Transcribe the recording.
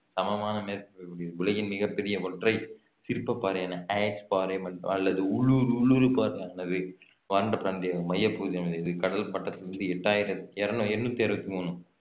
சமமான மேற்பரப்பை உடையது உலகின் மிகப் பெரிய ஒற்றை சிற்ப பாறையான அயர்ஸ் பாறை அல்லது உல்லூரு~ உலுரு பாறையானது வறண்ட பிராந்தி~ மைய பகுதியில் அமைந்துள்ளது கடல் மட்டத்தில் இருந்து எட்டாயிரத்தி இரணூ~ எண்ணூத்தி அறுபத்தி மூணு